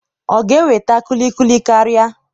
ọ ga-eweta kulikuli karịa?